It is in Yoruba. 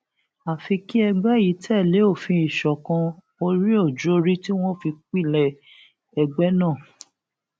àfi kí ẹgbẹ yìí tẹlé òfin ìṣọkan oríòjùorí tí wọn fi pilẹ ẹgbẹ náà